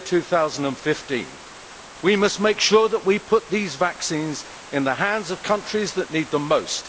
2015. We must make sure that we put these vaccines in the hands of countries that need them most.